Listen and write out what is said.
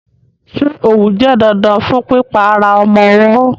Ṣé òwú jẹ́ dandan fún pípa ara ọmọ ọwọ́?